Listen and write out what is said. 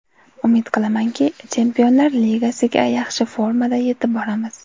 Umid qilamanki, Chempionlar Ligasiga yaxshi formada yetib boramiz.